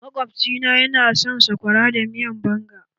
Maƙwabci na ya na son sakwara da miyar banga.